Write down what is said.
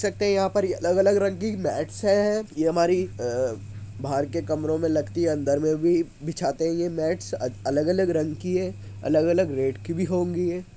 देख सकते है यहाँ पर अलग-अलग रंग की मैट्स है। ये हमारी अ- बाहर के कमरों में लगती है अंदर मे भी बिछाते ही हैं मैट्स अलग-अलग रंग की है अलग-अलग रेट की भी होंगी ये।